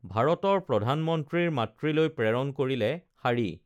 ভাৰতৰ প্ৰধানমন্ত্ৰীৰ মাতৃলৈ প্ৰেৰণ কৰিলে শাড়ী